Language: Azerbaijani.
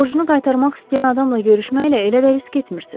Borcunu qaytarmaq istəyən adamla görüşməklə elə də risk etmirsiniz.